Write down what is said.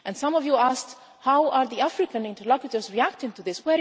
Some of you asked how are the African interlocutors reacting to this?